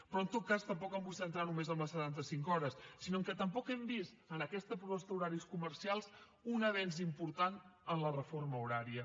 però en tot cas tampoc em vull centrar només en les setanta cinc hores sinó que tampoc hem vist en aquesta proposta d’horaris comercials un avenç important en la reforma horària